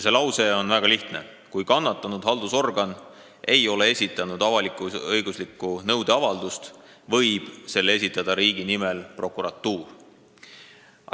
See lause on väga lihtne: "Kui kannatanud haldusorgan ei ole esitanud avalik-õiguslikku nõudeavaldust, võib selle esitada riigi nimel prokuratuur.